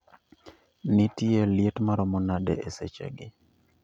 Nitie liet maromo nade esechegi